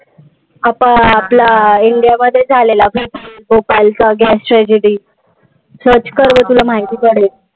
आपण आपल्या इंडियामध्येचं झालेला. भोपाळचा gas tragedy. Search कर बघ तुला माहिती पडेल.